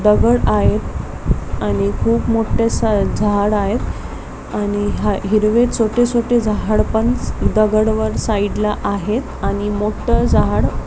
दगड आहेत आणि खूप मोठे स झाड आहेत आणि हा हिरवे छोटे छोटे झाड पण दगड वर साईड ला आहेत आणि मोठ झाड --